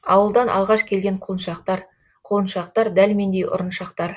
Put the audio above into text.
ауылдан алғаш келген құлыншақтар құлыншақтар дәл мендей ұрыншақтар